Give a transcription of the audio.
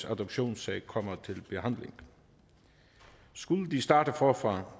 adoptionssag kommer til behandling skulle de starte forfra